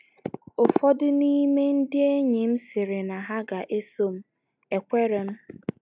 Ụfọdụ n’ime ndị enyi m sịrị na ha ga - eso m, ekweere m.